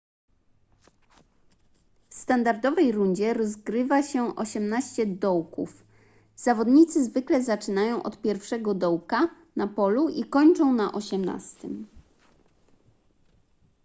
w standardowej rundzie rozgrywa się osiemnaście dołków zawodnicy zwykle zaczynają od pierwszego dołka na polu i kończą na osiemnastym